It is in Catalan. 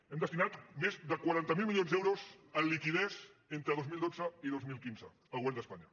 hem destinat més de quaranta miler milions d’euros en liqui·ditat entre dos mil dotze i dos mil quinze el govern d’espanya